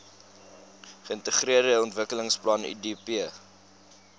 geintegreerde ontwikkelingsplan idp